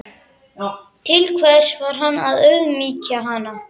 Til hvers var hann að auðmýkja hana?